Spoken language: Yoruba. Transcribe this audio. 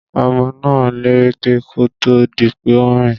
Ọmọ náà lẹ́rẹ̀kẹ́ kó tó di pé ó ń rìn.